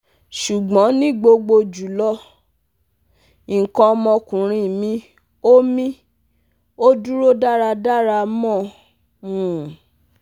Sugbon ni gbogbo julo, ikan omo okunrin mi o mi o duro daradara mo um